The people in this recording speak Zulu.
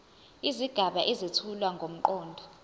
izigaba ezethula ngomqondo